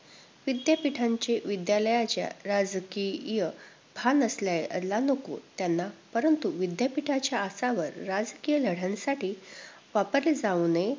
विद्यापीठांच्या विद्यालयाच्या राजकीय भान असायला नको त्यांना! परंतु, विद्यापीठाच्या आसावर राजकीय लढ्यांसाठी वापरले जाऊ नये.